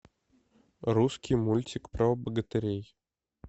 русский мультик про богатырей